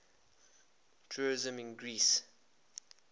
tourism in greece